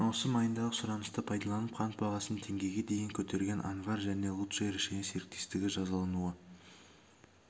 маусым айындағы сұранысты пайдаланып қант бағасын теңгеге дейін көтерген анвар және лучшее решение серіктестігі жазалануы